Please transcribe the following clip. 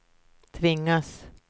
tvingas